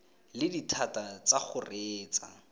le dithata tsa go reetsa